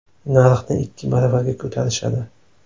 Narxni ikki baravarga ko‘tarishadi.